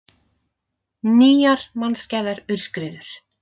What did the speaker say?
Nýjar mannskæðar aurskriður